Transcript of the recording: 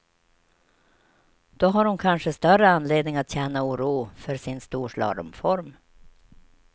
Då har hon kanske större anledning att känna oro för sin storslalomform.